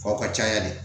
Kow ka ca yan de